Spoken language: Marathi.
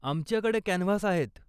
आमच्याकडे कॅनव्हास आहेत.